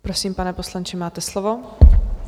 Prosím, pane poslanče, máte slovo.